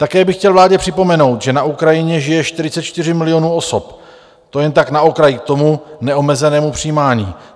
Také bych chtěl vládě připomenout, že na Ukrajině žije 44 milionů osob, to jen tak na okraj k tomu neomezenému přijímání.